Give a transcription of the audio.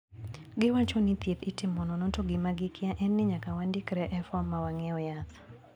Giwacho ni thieth itimo nono to gima gikia en ni nyaka wandikre e fom ma wang`iew yath.